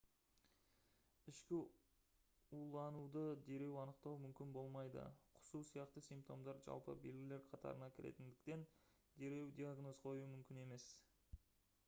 ішкі улануды дереу анықтау мүмкін болмайды құсу сияқты симптомдар жалпы белгілер қатарына кіретіндіктен дереу диагноз қою мүмкін емес